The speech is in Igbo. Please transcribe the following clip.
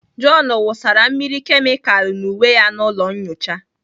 John wụsara mmiri kemịkalu n'uwe ya n'ụlọ nyocha.